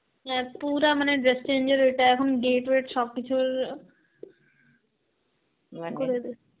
নে তুরা মানে dress change এর ওইটা এখন gate ওয়েট সবকিছুর করে দিসে.